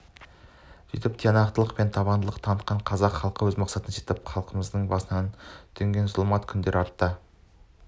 сөйтіп тиянақтылық пен табандылық танытқан қазақ халқы өз мақсатына жетіп халқымыздың басына төнген зұлмат күндер артта